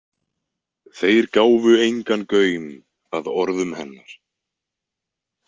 Þeir gáfu engan gaum að orðum hennar.